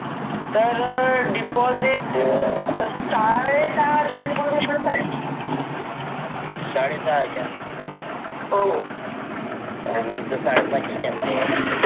तर डिपॉजिट साडेसाह हजार चा डिपॉजिट आहे साडेसहा हजार हो आणि मी तर साडेपाच आणले